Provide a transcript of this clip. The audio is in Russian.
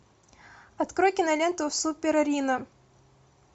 открой киноленту супер рино